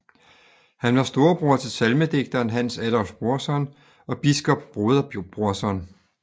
Han var storebror til salmedigteren Hans Adolph Brorson og biskop Broder Brorson